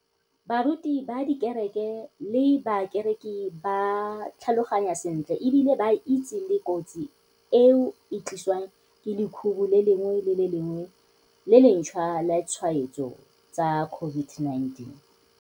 Baruti ba dikereke le bakereki ba tlhaloganya sentle e bile ba itse le kotsi eo e tlisiwang ke lekhubu le lengwe le le lengwe le lentšhwa la ditshwaetso tsa COVID-19.